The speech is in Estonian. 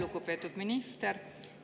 Lugupeetud minister!